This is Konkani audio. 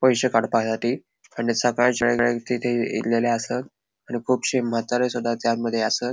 पैश्ये काडपायाती आणि सकाळच्या या तिथे येल ले आसत आणि कुबशे म्हातारेसुदा त्यांतमध्ये आसत.